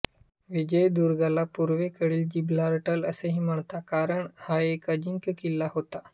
विजयदुर्गला पूर्वेकडील जिब्राल्टर असेही म्हणत कारण हा एक अजिंक्य किल्ला होता